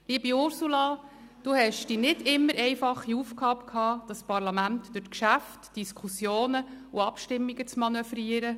Liebe Ursula Zybach, Sie hatten die nicht immer einfache Aufgabe, das Parlament durch die Geschäfte, Diskussionen und Abstimmungen zu manövrieren.